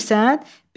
Bilimirsən?